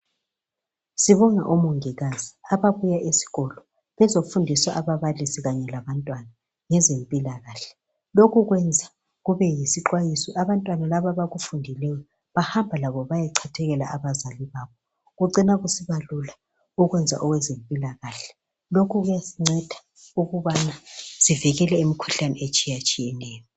Sibonga omongikazi ababuye esikolo. Bezofundisa ababalisi kanye labantwana, ngezempilakahle. Lokhu kwenza kubeyisixwayiso. Abantwana laba abakufundileyo, Bahamba labo bayechathekela abazali babo. Kucina kusiba lula ukwenza ezempilakahle. Lokhu kuyasinceda ukubana sivikele imikhuhlane etshiyatshiyeneyo.